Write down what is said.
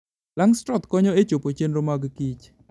Langstroth konyo e chopo chenro mag Kich.